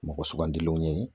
Mɔgɔ sugandilenw ye